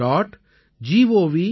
in